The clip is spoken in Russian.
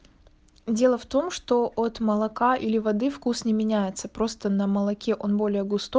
дело в том что от молока или воды вкус не меняется просто на молоке он более густо